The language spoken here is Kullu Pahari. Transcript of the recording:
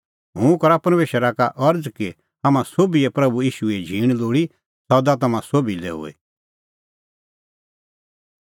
हुंह करा परमेशरा का अरज़ कि हाम्हां सोभिए प्रभू ईशूए झींण लोल़ी सदा तम्हां सोभी लै हुई